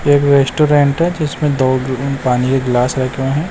एक रेस्टोरेंट है जिसमें दो अ पानी के एक गिलास रखा हैं।